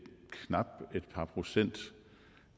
par procent